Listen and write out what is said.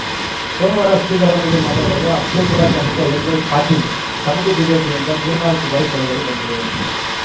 ಸೋಮವಾರ ಸುದ್ದಿಗಾರರೊಂದಿಗೆ ಮಾತನಾಡಿರುವ ಅಫಜಲ್ಪುರ ಶಾಸಕ ಎಂವೈಪಾಟೀಲ್‌ ತಮಗೂ ಬಿಜೆಪಿಯಿಂದ ಮೂರ್ನಾಲ್ಕು ಬಾರಿ ಕರೆಗಳು ಬಂದಿವೆ